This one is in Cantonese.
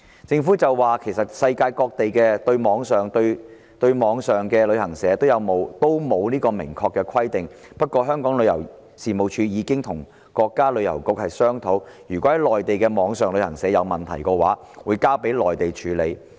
政府表示，世界各地對網上旅行社都沒有明確的規定，不過，香港旅遊事務署已經與國家旅遊局商討，如果在內地的網上旅行社有問題，會交予內地處理。